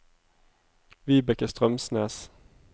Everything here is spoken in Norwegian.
Vibeke Strømsnes